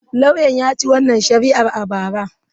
Lauyan ya ci wannan shari'ar a bara.